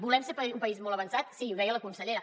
volem ser un país molt avançat sí i ho deia la consellera